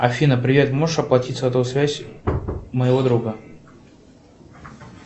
афина привет можешь оплатить сотовую связь моего друга